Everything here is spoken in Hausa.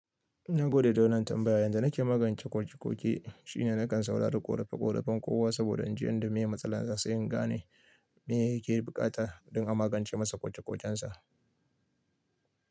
Na gode da wannan tambaya. Yanzu na ke magance koke-koke shine na kan saurari ƙorafe-ƙorafen kowa saboda in ji yadda mai matsala za su yi, ga ne me yake bukata don a magance masa koke-kokensa.